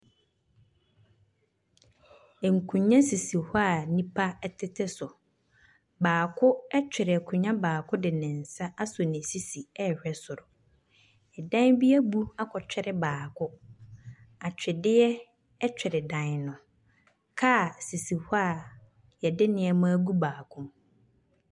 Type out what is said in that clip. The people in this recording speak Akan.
Nkonnwa sisi hɔ a nnipa tete so. Baako twre akonnwa baako de ne nsa asɔ ne sisi rehwɛ soro. Dan bi abu akɔtwere baako. Atweredeɛ twere dan no. Kaa sisi hɔ a wɔde nneɛma agu baako mu.